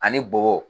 Ani bɔgɔ